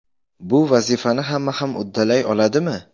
Bu vazifani hamma ham uddalay oladimi?